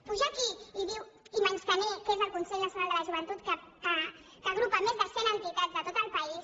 pujar aquí i menystenir el que és el consell nacional de la joventut que agrupa més de cent entitats de tot el país